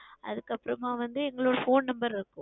அதுக்கு அப்புறம் வந்து எங்களுடைய Phone Number